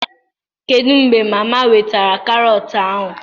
Kedu mgbe mama wetara Carrot ahụ?